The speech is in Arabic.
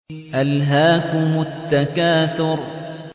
أَلْهَاكُمُ التَّكَاثُرُ